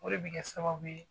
O de bi kɛ sababu ye